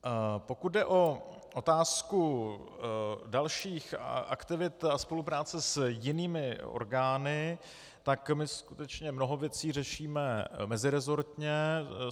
Pokud jde o otázku dalších aktivit a spolupráce s jinými orgány, tak my skutečně mnoho věcí řešíme meziresortně.